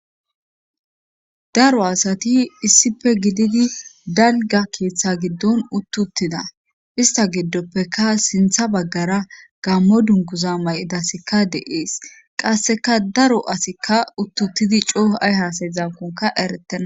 Dembbo asati issife gididi dalga keeththa giddon uttuttida ista giddoppeka sintha baggara gammo dunkuza may7idasikka deees qasseka daro asikka uttuttidi cooh7ay hasay zankonka eretenna.